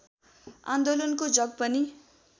आन्दोलनको जग पनि